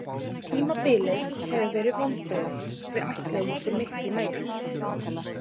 Tímabilið hefur verið vonbrigði, við ætluðum okkur miklu meira.